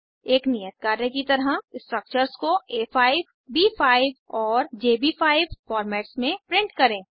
एक नियत कार्य की तरह स्ट्रक्चर्स को आ5 ब5 और जेबी5 फॉर्मेट्स में प्रिंट करें